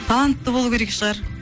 талантты болу керек шығар